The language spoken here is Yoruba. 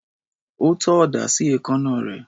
Ó tọ́ ọ̀dà sí èékánná rẹ̀.